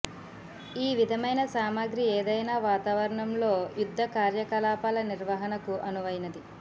ఈ విధమైన సామగ్రి ఏదైనా వాతావరణంలో యుద్ధ కార్యకలాపాల నిర్వహణకు అనువైనది